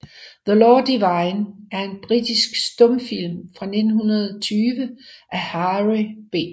The Law Divine er en britisk stumfilm fra 1920 af Harry B